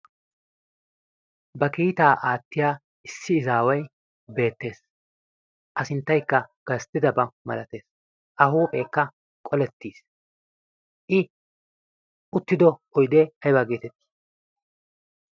ba kiitaa aattiya issi izaawai beettees. a sinttaikka gasttidabaa malatees a huupheekka qolettiis. i uttido oidee ayibaa geeteti?